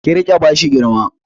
Kí rika bashi girma